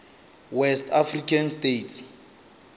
west african states